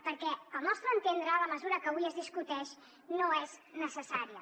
perquè al nostre entendre la mesura que avui es discuteix no és necessària